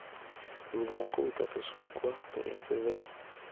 Thutha wa kũruta tũcungwa (tũrĩa tũtheru)